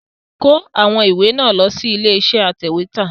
Kó àwọn ìwé náà lọ sí ilé iṣẹ́ atẹ̀wẹ́tà!